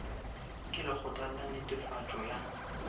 ke lekgotla la netefatšo ya